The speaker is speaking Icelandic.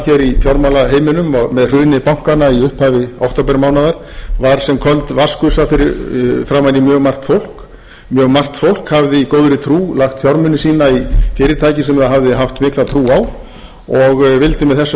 í fjármálaheiminum og með hruni bankanna í upphafi októbermánaðar var sem köld vatnsgusa framan í margt fólk mjög margt fólk hafði í góðri trú lagt fjármuni sína í fyrirtæki sem það hafði haft mikla trú á og vildi með þessum